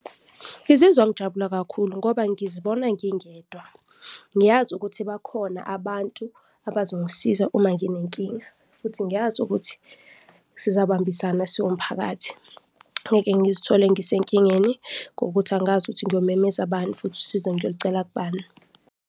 Ngizizwa ngijabula kakhulu ngoba ngizibona ngingedwa. Ngiyazi ukuthi bakhona abantu abazongisiza uma nginenkinga futhi ngiyazi ukuthi sizabambisana siwumphakathi, ngeke ngizithole ngisenkingeni ngokuthi angazi ukuthi ngiyomemeza bani futhi usizo ngiyolucela kubani.